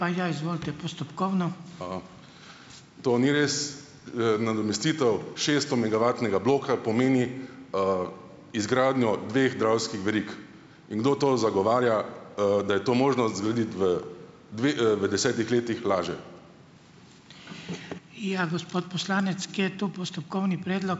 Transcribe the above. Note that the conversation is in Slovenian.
To ni res. Nadomestitev šeststomegavatnega bloka pomeni, izgradnjo dveh dravskih verig. In kdo to zagovarja, da je to možno zgraditi v v desetih letih, laže.